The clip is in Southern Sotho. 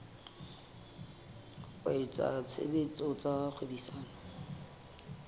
wa etsa tshebetso tsa kgwebisano